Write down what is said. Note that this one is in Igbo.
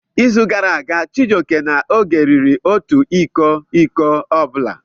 N'izu gara aga, Chijioke na Oge riri otu iko iko ọ bụla.